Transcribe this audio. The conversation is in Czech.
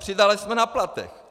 Přidali jsme na platech.